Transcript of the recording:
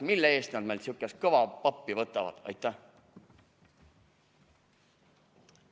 Mille eest nad meilt sihukest kõva pappi võtavad!?